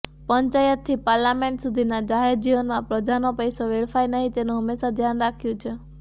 પંચાયતથી parliament સુધીના જાહેર જીવનમાં પ્રજાનો પૈસો વેડફાય નહી તેનું હંમેશા ધ્યાન રાખ્યું છે